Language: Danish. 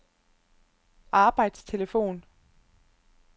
arbejdstelefon